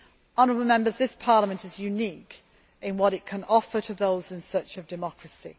Honourable Members, this Parliament is unique in what it can offer those in search of democracy.